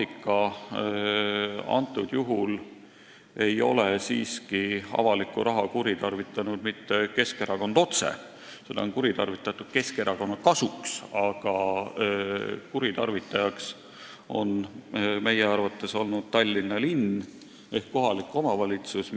Praegusel juhul ei ole avalikku raha kuritarvitanud siiski mitte Keskerakond otse, vaid seda on kuritarvitatud Keskerakonna kasuks, aga kuritarvitajaks on meie arvates olnud Tallinna linn ehk kohalik omavalitsus.